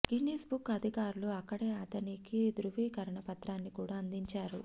Guinness book అధికారులు అక్కడే అతనికి ధ్రువీకరణ పత్రాన్ని కూడా అందించారు